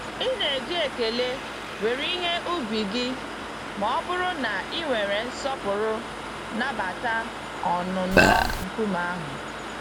Ị na-eji ekele were ihe ubi gị mọbụrụ na ị were nsọpụrụ nabata ọnụnọ nkume ahụ.